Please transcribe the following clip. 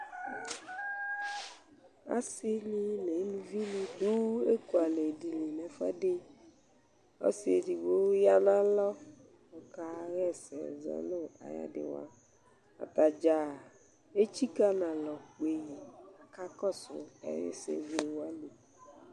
Ɔsini neluvini adu ekualɛ dini nɛfuɛdi Ɔsi edigbo ya nalɔ kayɛsɛzɔ nayadiwa Ataɖzaa etsika nalɔ kpeyi kakɔsu ayɛsɛwlewani